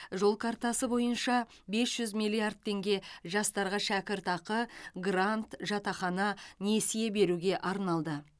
жол картасы бойынша бес жүз миллиард теңге жастарға шәкіртақы грант жатақхана несие беруге арналды